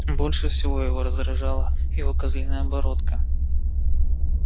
больше всего её раздражала его козлиная бородка